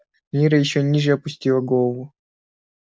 мирра ещё ниже опустила голову